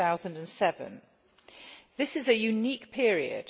2007. This is a unique period.